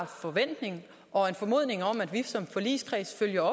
forventning og en formodning om at vi som forligskreds følger